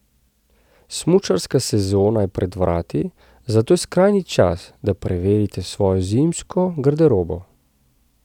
Smučarska sezona je pred vrati, zato je skrajni čas, da preverite svojo zimsko garderobo.